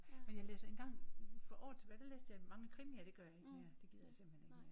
Men jeg læste engang for år tilbage der læste jeg mange krimier det gør jeg ikke mere. Det gider jeg simpelthen ikke mere